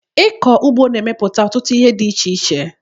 Ịkọ ụgbọ na-emepụta ọtụtụ ihe dị iche iche